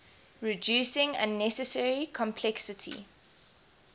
reducing unnecessary complexity